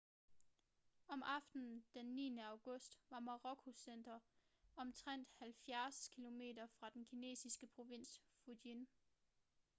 om aftenen den 9. august var morakots center omtrent halvfjerds kilometer fra den kinesiske provins fujian